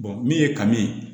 min ye kanu ye